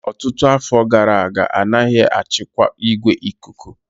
Ọtụtụ afọ gara aga, a naghị achịkwa igwe ikuku